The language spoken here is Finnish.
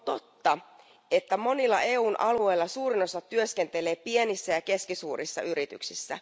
On totta, että monilla EUn alueilla suurin osa työskentelee pienissä ja keskisuurissa yrityksissä.